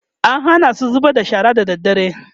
an Hana su zubar da shara da dare